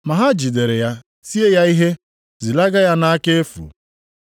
Ma ha jidere ya tie ya ihe, zilaga ya nʼaka efu.